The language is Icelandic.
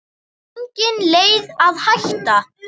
Engin leið að hætta.